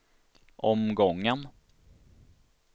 omgången